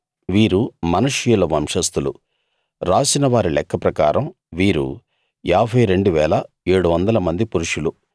వీరు మనష్షీయుల వంశస్థులు రాసిన వారి లెక్క ప్రకారం వీరు 52 700 మంది పురుషులు